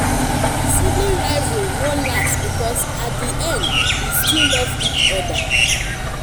sibling rivalry no last because at di end we still love each other.